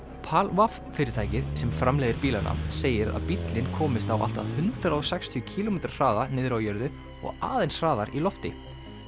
PAL fimm fyrirtækið sem framleiðir bílana segir að bíllinn komist á allt að hundrað og sextíu kílómetra hraða niðri á jörðu og aðeins hraðar í lofti